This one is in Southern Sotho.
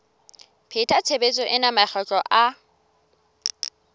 pheta tshebetso ena makgetlo a